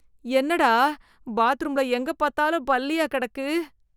என்னடா பாத்ரூம்ல எங்க பாத்தாலும் பல்லியா கெடக்கு.